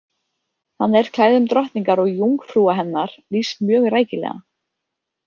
Þannig er klæðum drottningar og „jungfrúa“ hennar lýst mjög rækilega.